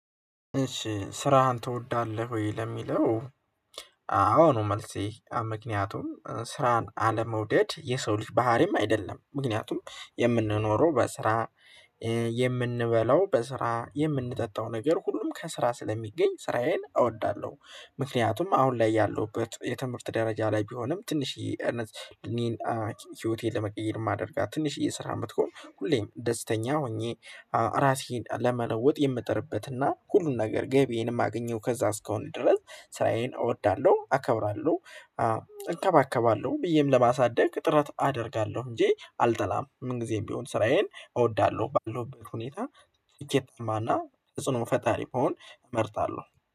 እሺ ስራህን ትወዳለህ ወይ ለሚለው? አዎ ነው መልሴ ምክንያቱም ስራን አለመውደድ የሰው ልጅ ባህሪም አይደለም ምክንያቱም የምንኖረው በስራ የምንበላው በስራ የምንጠጣው ነገር ሁሉም ከስራ ስለሚገኝ ስራዬን እወዳለሁ። ምክንያቱም አሁን ላይ ያለሁበት የትምህርት ደረጃ ላይ ቢሆንም ትንሽዬ እነዚህ እኔን ህይወቴን ለመቀየር የማደርጋት ትንሽዬ ስራም ብትሆን ሁሌም ደስተኛ ሆኜ ራሴን ለመለወጥ የምጥርበትና ሁሉን ነገር ገቢዬንም ማገኘው ከዛ እስከሆነ ድረስ ስራዬን እወዳለሁ አከብራለሁ። እንከባከባለሁ ብዬም ለማሳደግ ጥረት አደርጋለሁ እንጂ አልጠላም ምን ጊዜም ቢሆን ስራዬን እወዳለሁ ባለው ሁኔታ። እየተማና ተጽኖ ፈጣሪ መሆን እመርጣለሁ